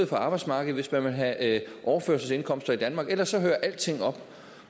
for arbejdsmarkedet hvis man vil have overførselsindkomster i danmark ellers hører alting op